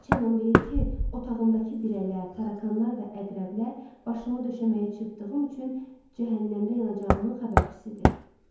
Xaçanam deyir ki, otağımdakı birələr, tarakanlar və əqrəblər başımı döşəməyə çırptığım üçün cəhənnəmdə yanacağımın xəbərçisidir.